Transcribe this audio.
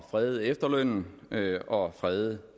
frede efterlønnen og frede